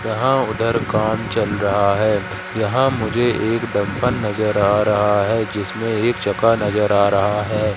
यहाँ उधर काम चल रहा है यहाँ मुझे एक डम्पर नज़र आ रहा है जिसमेँ एक चक्का नज़र आ रहा है।